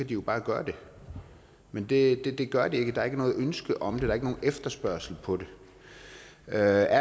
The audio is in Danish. de jo bare gøre det men det gør de ikke der er ikke noget ønske om det der er ikke nogen efterspørgsel på det er der